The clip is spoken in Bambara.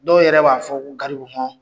Dɔw yɛrɛ b'a fɔ ko garibu hɔn.